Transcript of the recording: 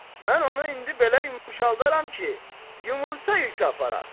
Mən onu indi belə yumşaldaram ki, yumurta yükü aparar.